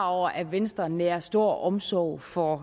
over at venstre nærer stor omsorg for